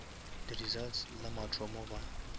di results la mathomo ba